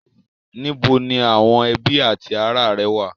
Níbo ni àwọn ẹbí ati ará rẹ wà?